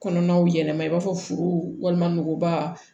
Kɔnɔnaw yɛlɛma i b'a fɔ forow walima nuguba